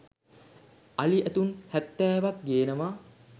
අලි ඇතුන් හැත්තෑවක් ‍ ගෙන්වා